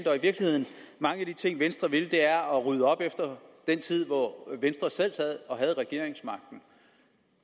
mange af de ting venstre vil er at rydde op efter den tid hvor venstre selv havde regeringsmagten